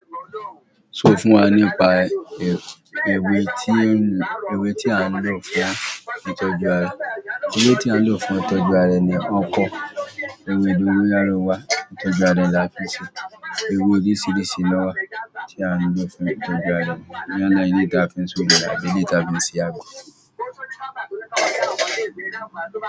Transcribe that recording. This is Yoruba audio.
Sọ fún wa nípa ewé tí ewé tí a ń lò fún ìtọ́jú ara. Ewé tí a ń lò fún ìtọ́jú ara ẹni o pọ, ewé dóngóyárò wá ìtọ́jú ara lá fií ṣe. Ewé oríṣiríṣi ló wà tí a ń lò fún ìtọ́jú ara, yálà eléyìí tí a fi n s'ounje, àbí eléyìí tí a fi n se agbo.